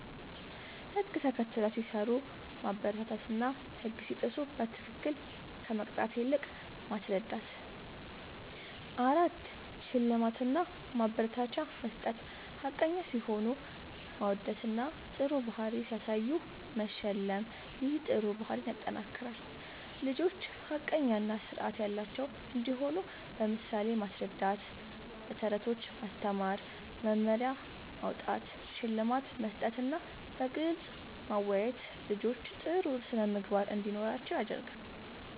ህግ ተከትለው ሲሰሩ ማበረታታትና ህግ ሲጥሱ በትክክል ከመቅጣት ይልቅ ማስረዳት ፬. ሽልማት እና ማበረታቻ መስጠት፦ ሐቀኛ ሲሆኑ ማወደስና ጥሩ ባህሪ ሲያሳዩ መሸለም ይህ ጥሩ ባህሪን ያጠናክራል። ልጆች ሐቀኛ እና ስርዓት ያላቸው እንዲሆኑ በምሳሌ ማስረዳት፣ በተረቶች ማስተማር፣ መመሪያ ማዉጣት፣ ሽልማት መስጠትና በግልጽ ማወያየት ልጆች ጥሩ ስነ ምግባር እንዲኖራቸዉ ያደርጋል